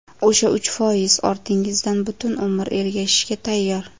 O‘sha uch foiz ortingizdan butun umr ergashishga tayyor.